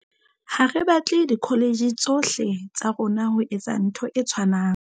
Ha re batle dikholetjhe tsohle tsa rona ho etsa ntho e tshwanang.